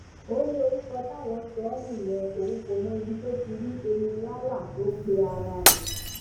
ó ní orúkọ táwọn sọ ọ nìyẹn òun kò mọ ibi tó ti rí enílálà tó ń pe ara rẹ